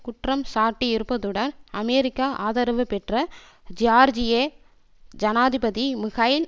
குற்றம் சாட்டியிருப்பதுடன் அமெரிக்க ஆதரவு பெற்ற ஜியார்ஜிய ஜனாதிபதி மிகைய்ல்